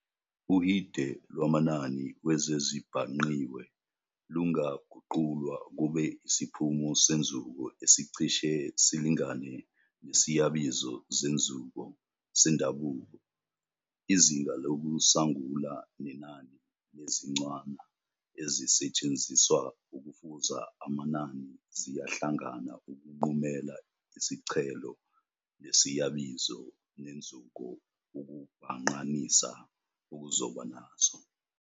Uhide lwamanani wezezibhangqiwe lunngaguqulwa kube isiphumo senzuko esicishe silingane nesiyabizo zenzuko sendabuko. Izinga lokusangula nenani lezincwana ezisetshenziswa ukufuza amanani ziyahlangana ukunqumela icishelo lesiyabizo senzuko ukubhangqanisa okuzoba naso.